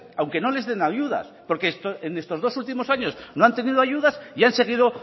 aunque no les den ayudas porque en estos dos últimos años no han tenido ayudas y han seguido